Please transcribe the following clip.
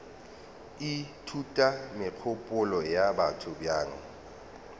ithuta megopolo ya batho bjang